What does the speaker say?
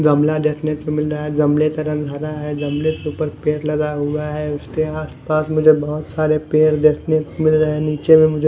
गमला देखने को मिल रहा गमले का रंग हरा है गमले ऊपर पेड़ लगा हुआ है उसके आस पास मुझे बहोत सारे पेड़ देखने को मिल रहे नीचे में मुझे--